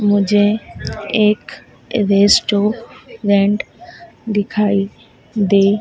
मुझे एक रेस्टोरेंट दिखाई दे--